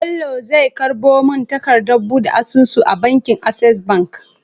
Bello zai karbo mun takadar buɗe asusu a bankin access bank